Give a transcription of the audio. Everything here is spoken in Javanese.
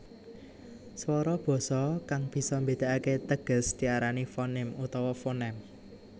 Swara basa kang bisa mbédakake teges diarani fonim utawa fonèm